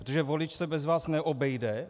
Protože volič se bez vás neobejde.